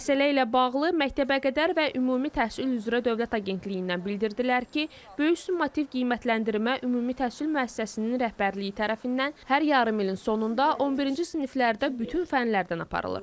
Məsələ ilə bağlı məktəbəqədər və ümumi təhsil üzrə Dövlət Agentliyindən bildirdilər ki, böyük summativ qiymətləndirmə ümumi təhsil müəssisəsinin rəhbərliyi tərəfindən hər yarımilin sonunda 11-ci siniflərdə bütün fənlərdən aparılır.